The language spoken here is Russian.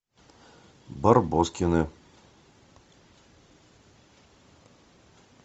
барбоскины